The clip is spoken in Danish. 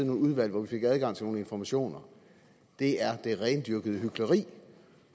nogle udvalg hvor vi fik adgang til nogle informationer er det rendyrkede hykleri